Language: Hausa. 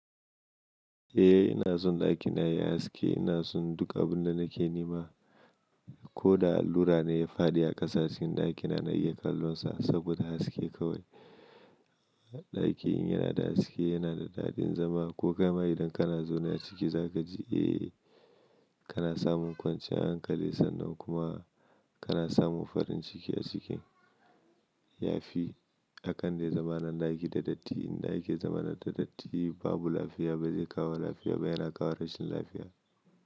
Eh ina son ɗakina yayi haske, ina son duka abunda nake nema. Ko da allura ne ya faɗi a ƙasa cikin ɗakina na iya kallon sa saboda haske kawai. Ɗaki in yanada haske, yana da daɗin zama ko kaima idan kana zaune a ciki zaka ji eh kana samun kwanciyar hankali sannan kuma kana samun farin ciki a ciki. Yafi akan dai zama na ɗaki da datti. Inda ake zama da datti babu lafiya, ba zai kawo lafiya ba, yana kawo rashin lafiya.